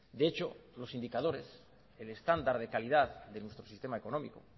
de hecho los indicadores el estándar de calidad de nuestro sistema económico